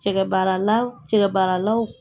Cɛ baarala cɛ baaralaw